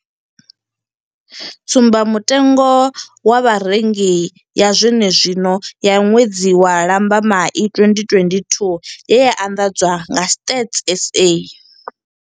Tsumba mutengo wa Vharengi ya zwenezwino ya ṅwedzi wa Lambamai 2022 ye ya anḓadzwa nga Stats SA.